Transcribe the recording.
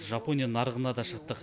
жапония нарығына да шықтық